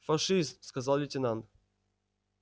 фашист сказал лейтенант